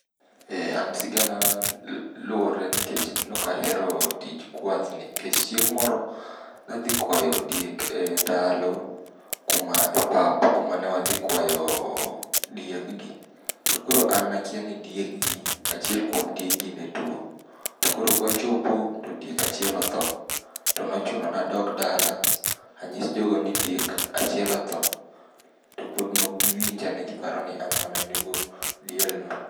Eeh, an siganana luwore nikech nokahero tij kwathni,. Nikech chieng' moro nadhi kwayo diek e ndalo kuma e pap kuma ne wadhi kwayo diekgi. To koro an nakia ni diekgi achiel kuom diekgi ne tuo. To koro kwachopo, to diek achiel otho. To nochuno nadog dala anyis jogo ni diek achiel otho, to pod nok giwinja ne giparo ni an mana nego dielno.